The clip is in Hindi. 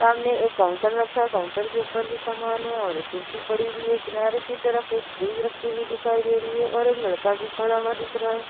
सामने एक काउंटर रखा है। काउंटर के ऊपर भी समान है और एक कुर्सी पड़ी हुई है। किनारे की तरफ एक फ्रिज रखी हुई दिखाई दे रही है और एक लड़का भी खड़ा हुआ दिख रहा है।